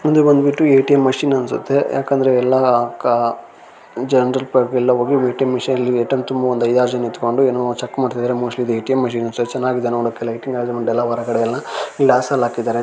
ಮುಂದೆ ಬಂದ್ಬಿಟ್ಟು ATM. Machine ಅನ್ಸುತ್ತೆ ಯಾಕಂದ್ರೆ ಎಲ್ಲಾ ಕ ಜನರೆಲ್ಲಾ ಹೋಗಿ ಎ.ಟಿ.ಎಮ್. ಮಷೀನ್ ಲ್ಲಿ ಎ.ಟಿ.ಎಮ್. ತುಂಬಾ ಒಂದ್ ಐದಾರು ಜನ ನಿತ್ಕೊಂಡು ಏನೋ ಚೆಕ್ ಮಾಡ್ತಾ ಇದಾರೆ ಮೋಸ್ಟ್ಲಿ ಈದ್ ಎ.ಟಿ.ಎಮ್. ಮಷೀನ್ ಅನ್ಸುತ್ತೆ ಚೆನ್ನಾಗಿದೆ ನೋಡೋಕೆ ಲೈಟಿಂಗ್ ಅರೇಂಜ್ಮೆಂಟ್ ಹೊರಗಡೆ ಎಲ್ಲ ಗ್ಲಾಸ್ ಎಲ್ಲಾ ಹಾಕಿದ್ದಾರೆ.